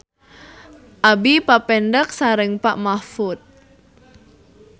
Abi papendak sareng Pak Mahfud